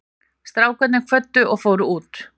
Strákarnir kvöddu og fóru út.